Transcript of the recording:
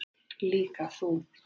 Líka þú.